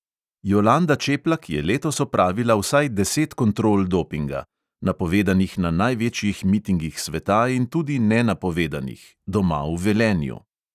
Jolanda čeplak je letos opravila vsaj deset kontrol dopinga: napovedanih na največjih mitingih sveta in tudi nenapovedanih – doma v velenju.